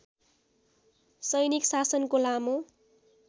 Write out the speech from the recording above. सैनिक शासनको लामो